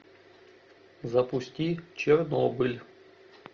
запусти чернобыль